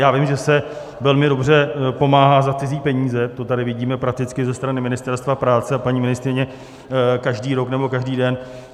Já vím, že se velmi dobře pomáhá za cizí peníze, to tady vidíme prakticky ze strany Ministerstva práce a paní ministryně každý rok nebo každý den.